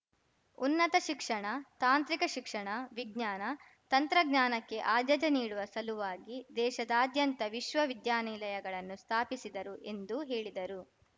ಉನ್ನತ ಶಿಕ್ಷಣ ತಾಂತ್ರಿಕ ಶಿಕ್ಷಣ ವಿಜ್ಞಾನ ತಂತ್ರಜ್ಞಾನಕ್ಕೆ ಆದ್ಯತೆ ನೀಡುವ ಸಲುವಾಗಿ ದೇಶಾದಾದ್ಯಂತ ವಿಶ್ವ ವಿದ್ಯಾನಿಲಯಗಳನ್ನು ಸ್ಥಾಪಿಸಿದರು ಎಂದು ಹೇಳಿದರು